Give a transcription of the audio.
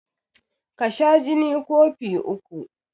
Ka sha jini kofi uku